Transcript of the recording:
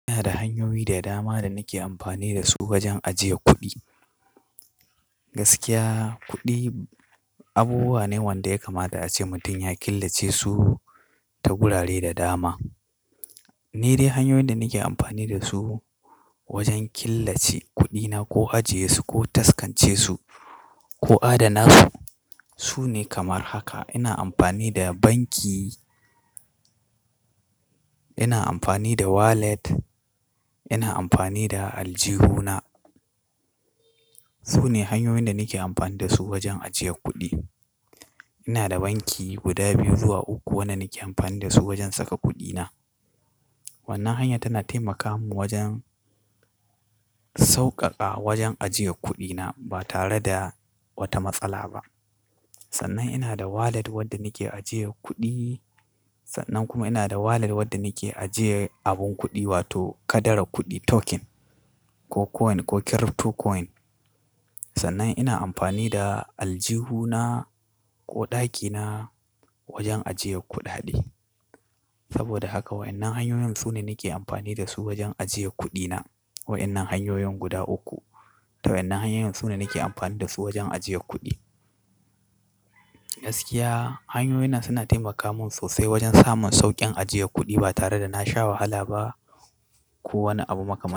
Ina da hanyoyi da dama da nake amfani da su wajen ajiye kuɗi. Gaskiya kuɗi abubuwa ne wanda ya kamata a ce mutum ya killace su ta wurare da dama. Ni dai hanyoyin da nake amfani da su wajen killace kuɗina ko ajiye su ko taskance su ko adana su, su ne kamar haka. Ina amfani da banki, ina amfani da wallet, ina amfani da aljihuna. Su ne hanyoyin da nake amfani da su wajen ajiye kuɗi. Ina da banki guda biyu zuwa uku wanda nake amfani da su wajen saka kuɗina. Wannan hanya tana taimaka mun wajen sauƙaƙa wajen ajiye kuɗina ba tare da wata matsala ba. Sannan ina da wallet wadda nake ajiye kuɗi. Sannan kuma ina da wallet wadda nake ajiye abun kuɗi wato kadarar kuɗi token ko coin ko crypto coin. Sannan ina amfani da aljihuna ko ɗakina wajen ajiye kuɗaɗe. Saboda haka waɗannan hanyoyin su ne nake amfani da su wajen ajiye kuɗina. Waɗannan hanyoyin guda uku. To wa'ennan hanyoyin su ne nake amfani da su wajen ajiye kuɗi. Gaskiya hanyoyin nan suna taimaka mun sosai wajen samun sauƙin ajiye kuɗi ba tare da nasha wahala ba ko wani abu makaman.